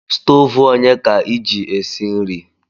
Stove onye ka iji esi nri?